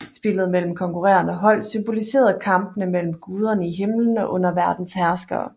Spillet mellem konkurrerende hold symboliserede kampene mellem guderne i himlen og underverdenens herskere